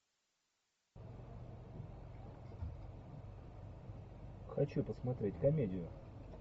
хочу посмотреть комедию